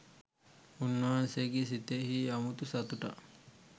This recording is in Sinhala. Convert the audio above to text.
උන්වහන්සේගේ සිතෙහි අමුතු සතුටක්